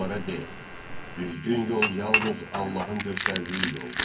Onlara de: "Düzgün yol yalnız Allahın göstərdiyi yoldur."